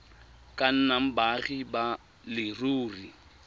ka nnang baagi ba leruri